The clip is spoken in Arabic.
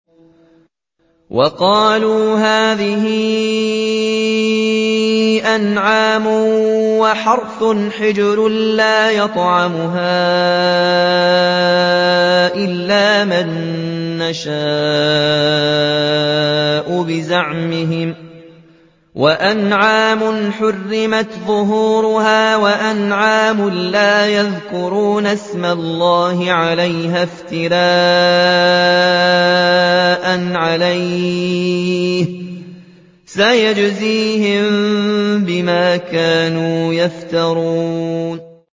وَقَالُوا هَٰذِهِ أَنْعَامٌ وَحَرْثٌ حِجْرٌ لَّا يَطْعَمُهَا إِلَّا مَن نَّشَاءُ بِزَعْمِهِمْ وَأَنْعَامٌ حُرِّمَتْ ظُهُورُهَا وَأَنْعَامٌ لَّا يَذْكُرُونَ اسْمَ اللَّهِ عَلَيْهَا افْتِرَاءً عَلَيْهِ ۚ سَيَجْزِيهِم بِمَا كَانُوا يَفْتَرُونَ